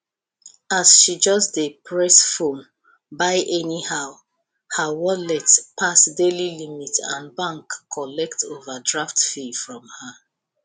as she just dey press phone buy anyhow her wallet pass daily limit and bank collect overdraft fee from her